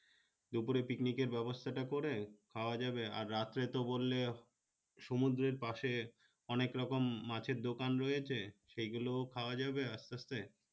দুপুরের picnic নিকের ব্যবস্থাটা করে খাওয়া যাবে আর রাত্রে তো বললে সমুদ্রের পাশে অনেক রকম মাছের দোকান রয়েছে সেগুলো ও খাওয়া যাবে আস্তে আস্তে